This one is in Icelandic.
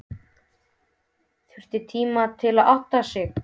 Þurfti tíma til að átta sig.